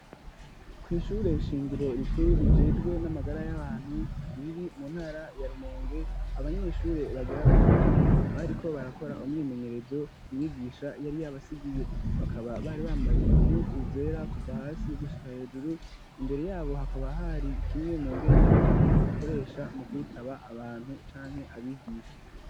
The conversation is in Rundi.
kw’ishure shingiro rikuru rijejwe n'amagara y'abantu riri mu ntara ya Rumonge abanyeshure bagera kuri bane bariko barakora umwimenyerezo umwigisha yari yabasigiye bakaba bari bambaye impuzu zera kuva hasi gushika hejuru imbere yabo hakaba hari kimwe mu ngendanwa bakoresha mu kwitaba abantu canke abigisha.